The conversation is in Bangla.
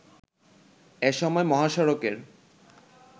এসময় মহাসড়কের